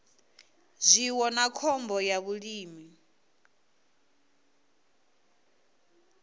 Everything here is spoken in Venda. zwiwo na khombo ya vhulimi